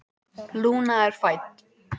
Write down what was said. Lúna er fædd.